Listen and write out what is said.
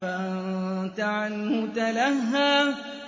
فَأَنتَ عَنْهُ تَلَهَّىٰ